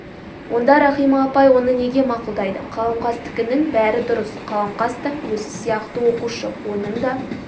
онда рахима апай оны неге мақұлдайды қаламқастікінің бәрі дұрыс қаламқас та өзі сияқты оқушы оның да